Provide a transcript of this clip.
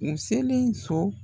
N selen so.